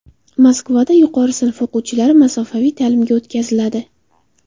Moskvada yuqori sinf o‘quvchilari masofaviy ta’limga o‘tkaziladi.